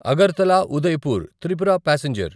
Agartala Udaipur Tripura passenger